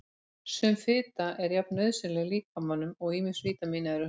Sum fita er jafn nauðsynleg líkamanum og ýmis vítamín eru.